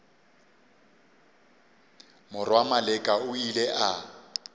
morwa maleka o ile a